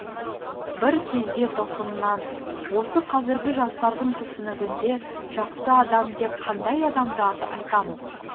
бір кезде тосыннан осы қазіргі жастардың түсінігінде жақсы адам деп қандай адамды айтамыз